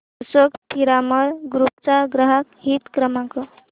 Ashok Piramal group चा ग्राहक हित क्रमांक